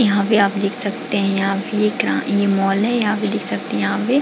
यहाँ पे आप देख सकते है यहाँ पे ये क्या ये मॉल है यहाँ पे देख सकते है यहाँ पे--